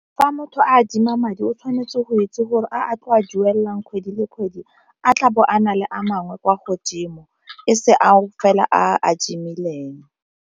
Fa motho a adima madi o tshwanetse go itse gore a tle a duelang kgwedi le kgwedi a tla bo a na le a mangwe kwa godimo e se ao fela a adimileng.